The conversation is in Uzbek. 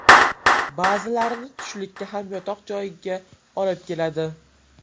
Ba’zilarini tushlikka ham yotoq joyiga olib keladi.